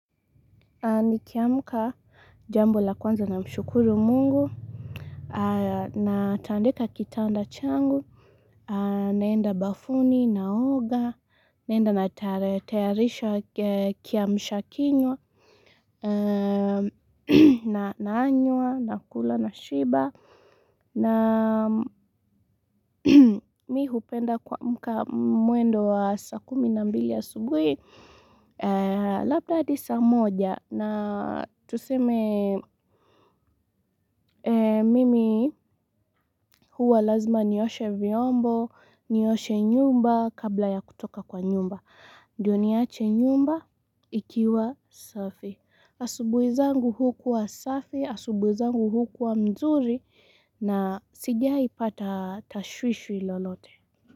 Nikiamka jambo la kwanza namshukuru mungu, natandika kitanda changu, naenda bafuni, naoga, naenda natayarisha kiamsha kinywa, nanywa, nakula, nashiba na mimi hupenda kwa mwendo wa saa kumi na mbili asubuhi Labda hadi saa moja na tuseme mimi huwa lazima nioshe vyombo Nioshe nyumba kabla ya kutoka kwa nyumba Ndio niache nyumba ikiwa safi asubuhi zangu hukuwa safi, asubuhi zangu hukuwa mzuri na sijaipata tashwishwi lolote.